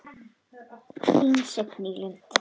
Þín Signý Lind.